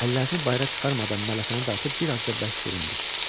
Əllərini bayıra çıxarmadan mələfəni dartıb bir az da bərk büründü.